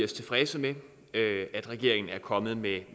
tilfredse med at regeringen er kommet med